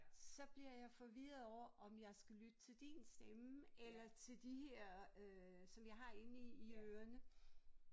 Så bliver jeg forvirret over om jeg skal lytte til din stemme eller til de her øh som jeg har inde i i ørene